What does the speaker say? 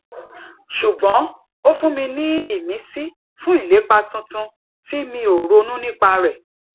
ṣùgbọn ó fún mi ní ìmísí fún ilepa tuntun tí mi ò ronú nípa rẹ